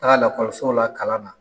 Taga lakɔso la kalan na.